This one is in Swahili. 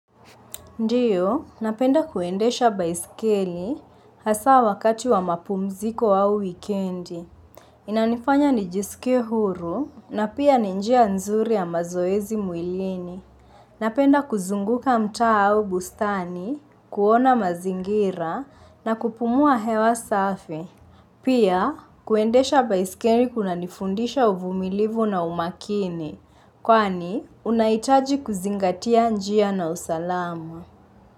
Ndiyo, napenda kuendesha baiskeli hasa wakati wa mapumziko ao wikendi. Inanifanya nijiskie huru na pia ni njia nzuri ya mazoezi mwilini. Napenda kuzunguka mtaa au bustani, kuona mazingira na kupumua hewa safi. Pia, kuendesha baiskeli kuna nifundisha uvumilivu na umakini. Kwani, unahitaji kuzingatia njia na usalamu.